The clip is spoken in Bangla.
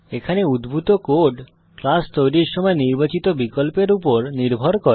এখানে উদ্ভূত কোড ক্লাস তৈরীর সময় নির্বাচিত বিকল্পের উপর নির্ভর করে